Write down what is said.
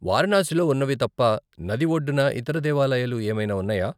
వారణాసిలో ఉన్నవి తప్ప నది ఒడ్డున ఇతర దేవాలయాలు ఏమైనా ఉన్నాయా?